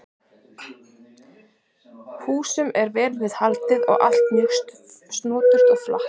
Húsum er vel við haldið og allt er mjög snoturt og flatt.